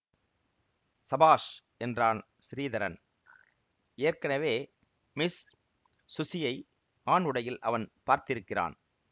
சபாஷ் என்றான் ஸ்ரீதரன் ஏற்கெனவே மிஸ் ஸுஸியை ஆண் உடையில் அவன் பார்த்திருக்கிறான்